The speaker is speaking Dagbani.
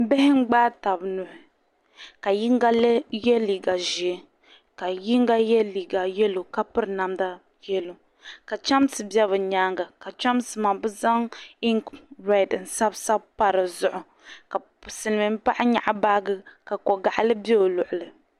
Bihi n-gbaai taba nuhi ka yiŋga ye liiga ʒee ka yiŋga ye liiga "yellow" ka piri namda "yellow" ka chamsi be bɛ nyaaŋa ka chamsi maa be zaŋ ink red n-sabi sabi pa dizuɣu ka Silimin'paɣa nyɛɣi baaji ka ko'gaɣili be o luɣili.